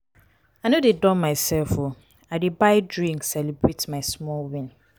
i no dey dull mysef o i dey buy drink celebrate my small win.